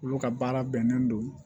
Olu ka baara bɛnnen don